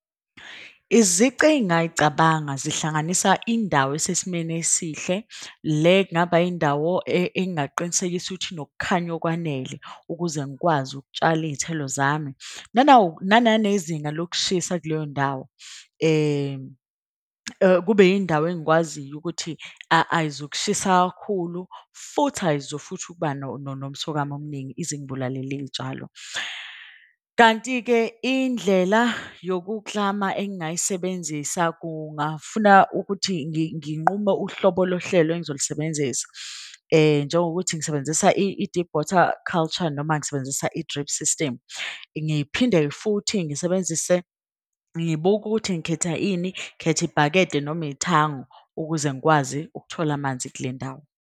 Izici engayicabanga zihlanganisa indawo isesimeni esihle le kungaba indawo engingaqinisekisa ukuthi inokukhanya okwanele. Ukuze ngikwazi ukutshala iy'thelo zami nawo nananezinga lokushisa kuleyo ndawo. Kube yindawo engikwaziyo ukuthi ayizukushisa kakhulu. Futhi ayizu futhi ukuba nomsokamo omningi ize ingibulalele iy'tshalo. Kanti-ke indlela yokuklama engayisebenzisa kungafuna ukuthi nginqume uhlobo lohlelo engizolusebenzisa. Njengokuthi ngisebenzisa i-deep water culture noma ngisebenzisa i-drip system. Ngiphinde futhi ngisebenzise ngibuke ukuthi ngikhetha ini. Ngikhetha ibhakede noma ithango ukuze ngikwazi ukuthola amanzi kule ndawo.